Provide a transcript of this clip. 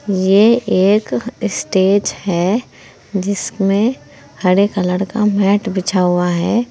ये एक स्टेज है जिसमें हरे कलर का मैट बिछा हुआ है।